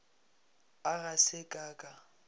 a ga se ka ka